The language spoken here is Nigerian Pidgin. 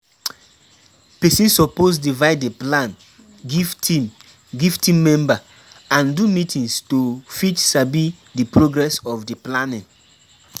Persin suppose divide di plan give team give team member and do meetings to fit sabi di progress of di planning